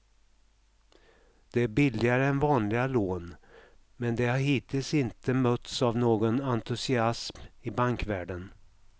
Det är billigare än vanliga lån, men det har hittills inte mötts av någon entusiasm i bankvärlden.